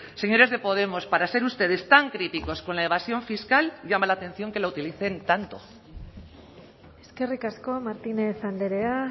señores de podemos para ser ustedes tan críticos con la evasión fiscal llama la atención que la utilicen tanto eskerrik asko martínez andrea